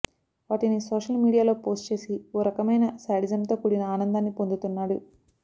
వాటిని సోషల్ మీడియాలో పోస్ట్ చేసి ఓ రకమైన శాడిజంతో కూడిన ఆనందాన్ని పొందుతున్నాడు